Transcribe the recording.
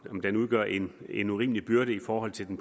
den udgør en en urimelig byrde i forhold til den